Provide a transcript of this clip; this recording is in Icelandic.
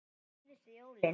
Síðustu jólin.